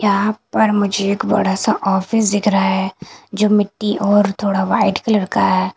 यहां पर मुझे एक बड़ा सा ऑफिस दिख रहा है जो मिट्टी और थोड़ा व्हाइट कलर का है।